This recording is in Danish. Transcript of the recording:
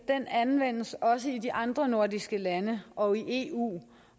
anvendes også i de andre nordiske lande og i eu